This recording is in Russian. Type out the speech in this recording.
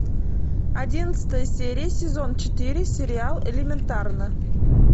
одиннадцатая серия сезон четыре сериал элементарно